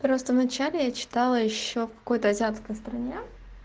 просто в начале я читала ещё в какой-то азиатской стране